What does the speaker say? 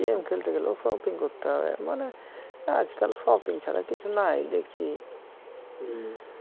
game খেলতে গেলেও shopping করতে হবে মানে আজকাল shopping ছাড়া কিছু নাই দেখছি হম